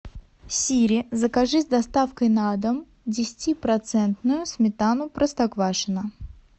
сири закажи с доставкой на дом десятипроцентную сметану простоквашино